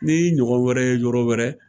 Ni y'i ɲɔgɔn wɛrɛ ye yɔrɔ wɛrɛ.